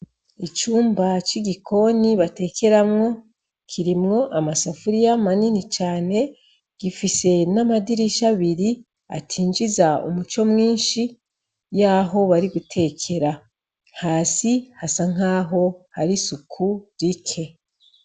Icumba c'igikoni batekeramwo kirimwo amasafuriya manini cane, gifise n'amadirisha abiri atinjiza umuco mwinshi y'aho bari gutekera. Hasi hasa nk'aho hari isuku rike.